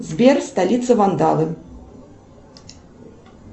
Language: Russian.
сбер столица вандалы